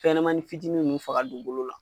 Fɛn ɲɛnɛmanin fitinin mun be faga dugukolo la